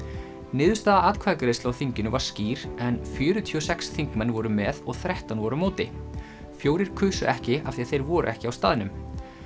niðurstaða atkvæðagreiðslu á þinginu var skýr en fjörutíu og sex þingmenn voru með og þrettán voru á móti fjórir kusu ekki af því þeir voru ekki á staðnum